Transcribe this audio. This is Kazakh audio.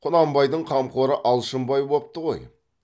құнанбайдың қамқоры алшынбай бопты ғой